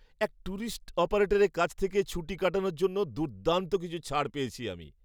এক ট্যুরিস্ট অপারেটারের কাছ থেকে ছুটি কাটানোর জন্য দুর্দান্ত কিছু ছাড় পেয়েছি আমি।